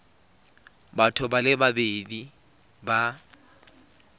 batho ba le babedi ba